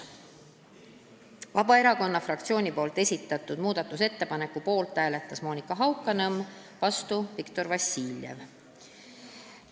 Vabaerakonna fraktsiooni esitatud muudatusettepaneku poolt hääletas vaid Monika Haukanõmm, vastu Viktor Vassiljev.